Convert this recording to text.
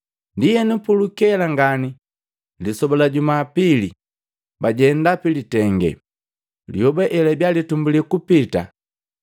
Ndienu, pulukela ngani lisoba la Jumapili, bajenda pilitenge, lyoba elatumbulya kupita.